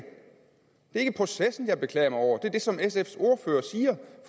ikke processen jeg beklager mig over det er det som sfs ordfører siger